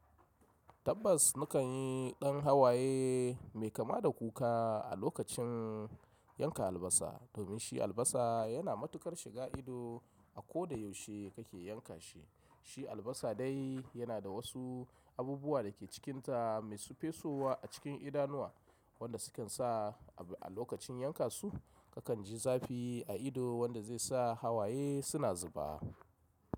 Tabbas nikan yi ɗan hawaye mai kama da kuka a lokacin yanka albasa domin shi albasa yana matukar shiga ido a ko da yaushe kake yanka shi. Shi albasa dai yana da wasu abubuwa da ke cikinta mai su fesowa a cikin idanuwa wanda sukan sa abu a lokacin yanka su kakan ji zafi a ido wanda zai sa hawaye suna zuba.